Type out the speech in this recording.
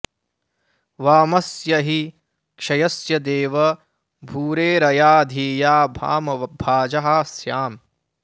वा॒मस्य॒ हि क्षय॑स्य देव॒ भूरे॑र॒या धि॒या वा॑म॒भाजः॑ स्याम